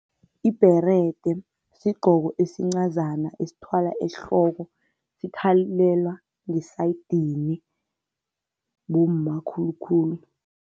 Ibherede sigqoko esincazana esithwalwa ehloko. Sithwalelwa ngesayidini, bomma khulu khulu.